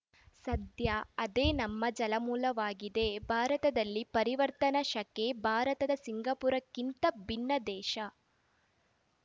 ಸದ್ಯ ಅದೇ ನಮ್ಮ ಜಲಮೂಲವಾಗಿದೆ ಭಾರತದಲ್ಲಿ ಪರಿವರ್ತನಾ ಶಕೆ ಭಾರತ ಸಿಂಗಾಪುರಕ್ಕಿಂತ ಭಿನ್ನ ದೇಶ